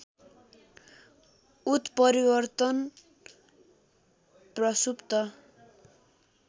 उत्परिवर्तन प्रसुप्त